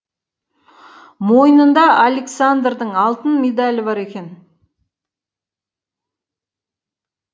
мойнында александрдың алтын медалі бар екен